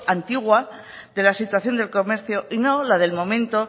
antigua de la situación del comercio y no la del momento